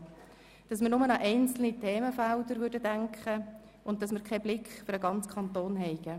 Sie sagten, dass wir nur an einzelne Entlastungsfelder denken würden und keinen Blick für den ganzen Kanton hätten.